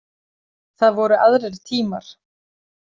Það voru aðrir tímar.